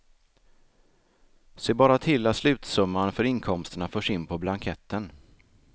Se bara till att slutsumman för inkomsterna förs in på blanketten.